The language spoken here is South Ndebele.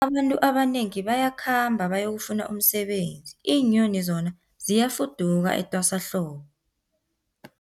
Abantu abanengi bayakhamba bayokufuna umsebenzi, iinyoni zona ziyafuduka etwasahlobo.